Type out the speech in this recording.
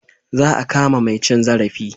Za a kama mai cin zarafi.